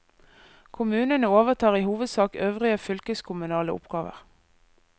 Kommunene overtar i hovedsak øvrige fylkeskommunale oppgaver.